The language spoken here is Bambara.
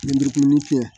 Lenburumumuni k'u ɲɛ